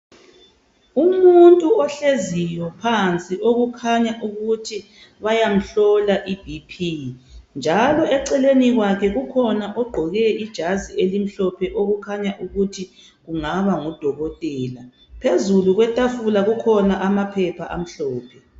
Umuntu ohleziyo phansi okukhanya ukuthi bayamhlola iBP njalo eceleni kwakhe kukhona ogqoke ijazi elimhlophe okukhanya ukuthi kungaba ngudokotela. Phezulu kwetafula kukhona amaphepha amhlophe.